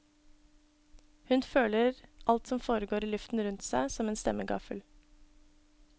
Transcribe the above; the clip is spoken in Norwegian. Hun føler alt som foregår i luften rundt seg, som en stemmegaffel.